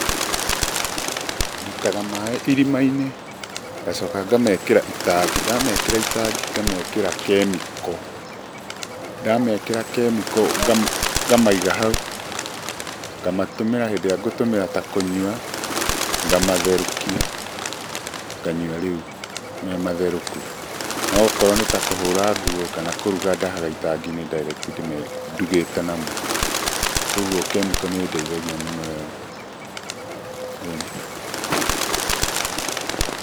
Ndutaga maĩ irima-inĩ, ngacoka ngamekĩra itangi. Ndamekĩra itangi ngamekĩra kemiko, ndamekĩra kemiko, ngamaiga hau, ngamatũmĩra hĩndĩ ĩrĩa ngũtũmĩra ta kũnyua, ngamatherũkia, nganyua rĩu mematherũku, no okorwo nĩ ta kũhũra nguo kana kũruga ndahaga itangi-inĩ direct ndugĩte namo. Koguo kemiko nĩ ĩndeithagia mũno ĩyo, ĩni.